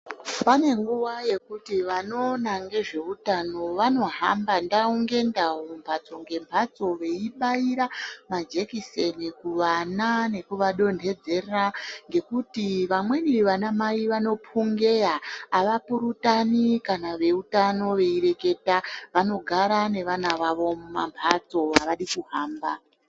Pane nguwa yekuti vanoona ngezVeutano vanohamba ndau ngendau mhatso ngemhatso veibaira majekiseni kuvana nekuvadontedzera ngekuti vamweni ana mai vanopungeya avapurutani kana veutano veireketa vanogara nevana vavo mumamhatso avadi kuhamba.